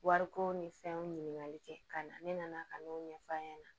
Wariko ni fɛnw ɲininkali kɛ ka ɲa ne nana ka n'o ɲɛf'a ɲɛna